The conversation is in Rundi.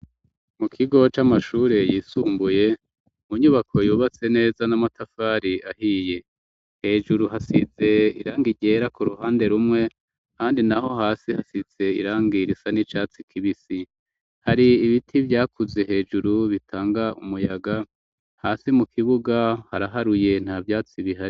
Mukigo c'amashiri yisumbuye, inyubako yubatse neza n'amafatari ahiye , hejuru hasize irangi ryera k'uruhande, ahandi naho hasi hasize irangi risa n'icatsi kibisi, hari ibiti vyakuze bitanga umuyaga umuyaga, hasi mukibuga haraharuye nta vyatsi bihari.